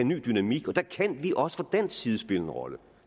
ny dynamik og der kan vi også fra dansk side spille en rolle